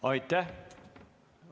Aitäh!